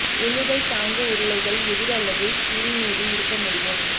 உந்துதல் தாங்கு உருளைகள் எதிர் அல்லது ஸ்லீவ் மீது இருக்க முடியும்